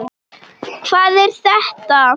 Hvað er þetta?